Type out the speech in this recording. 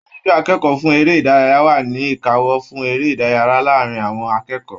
Aṣojú akẹ́kọ̀ọ́ fún eré ìdárayá wa ni ìkáwọ́ fún eré ìdárayá láàrín àwọn akẹ́kọ̀ọ́.